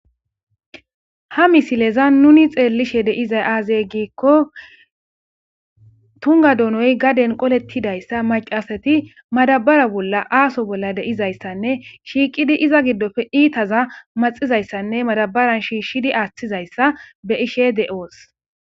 Ha missilezan nuni xellishe dizayi aze gikko tungga donnoyi gadden qooletidayissa macca asati maddabara bolla asso bolla de'izayissanne shiqqidi iza giddoppe ittaza maxxizayisanne maddabaran shishidi aththizayisa be'ishe de'oosi.